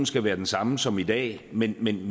skal være den samme som i dag men men